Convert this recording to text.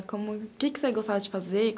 O que você gostava de fazer?